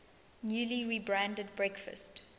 newly rebranded breakfast